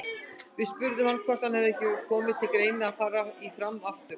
Við spurðum hann hvort ekki hefði komið til greina að fara í Fram aftur?